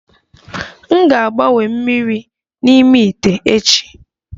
M ga-agbanwe mmiri n'ime ite echi